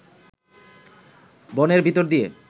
বনের ভিতর দিয়ে